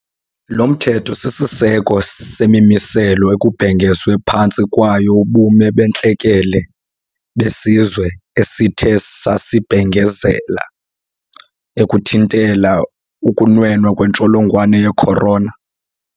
Lo mthetho sisiseko semimiselo ekubhengezwe phantsi kwayo ubume bentlekele besizwe esithe sasibhengezela ukuthintela ukunwena kwentsholongwane ye-corona.